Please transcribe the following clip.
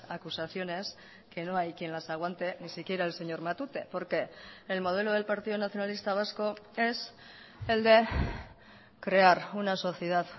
acusaciones que no hay quien las aguante ni siquiera el señor matute porque el modelo del partido nacionalista vasco es el de crear una sociedad